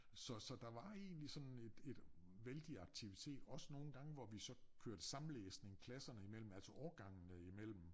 Så så der var egentlig sådan et et vældig aktivitet også nogen gange hvor vi så kørte samlæsning klasserne i mellem altså årgangene i mellem